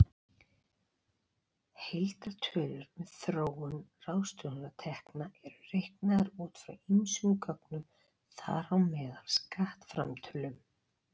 Heildartölur um þróun ráðstöfunartekna eru reiknaðar út frá ýmsum gögnum, þar á meðal skattframtölum.